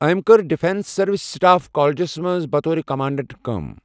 أمہِ كٕر defence services staff colleges منٛز بطور کَمانٛڈنٛٹ كٲم ۔